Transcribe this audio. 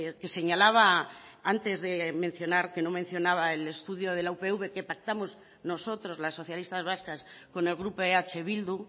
que señalaba antes de mencionar que no mencionaba el estudio de la upv que pactamos nosotros las socialistas vascas con el grupo eh bildu